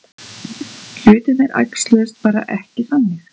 Hlutirnir æxluðust bara ekki þannig.